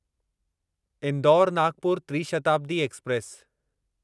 Indore Nagpur Tri Shatabdi express